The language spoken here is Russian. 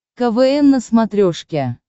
квн на смотрешке